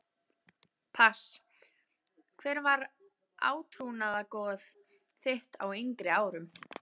pass Hver var átrúnaðargoð þitt á yngri árum?